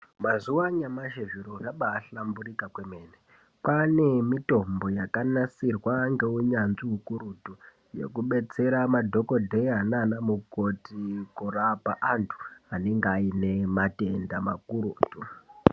Mazuwa anyamashi zviro zvakahlamburika kwemene. Kwaane mitombo yakanasirwa ngeunyanzvi ukurutu, yokubetsera madhokodheya naanamukoti kurapa antu, anenga aine matenda makurutu.